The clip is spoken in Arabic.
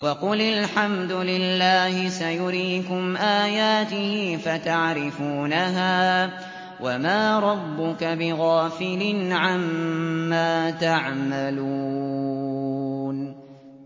وَقُلِ الْحَمْدُ لِلَّهِ سَيُرِيكُمْ آيَاتِهِ فَتَعْرِفُونَهَا ۚ وَمَا رَبُّكَ بِغَافِلٍ عَمَّا تَعْمَلُونَ